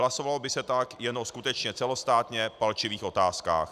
Hlasovalo by se tak jenom skutečně celostátně v palčivých otázkách.